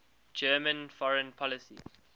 german foreign policy